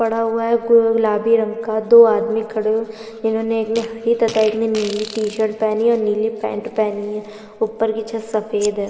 पड़ा हुआ है गुलाबी रंग का दो आदमी खड़े हुवे है इनहोने एक ने हरी तथा एक ने नीली टी शर्ट पहनी है और एक ने नीली पेण्ट पहनी है ऊपर की छत सफ़ेद है --